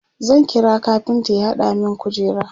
zan kira kafinta ya hada min kujera